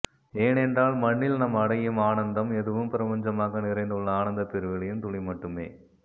ஏனென்றால் மண்ணில் நாம் அடையும் ஆனன்ந்தம் எதுவும் பிரபஞ்சமாக நிறைந்துள்ள ஆனந்தப்பெருவெளியின் துளி மட்டுமே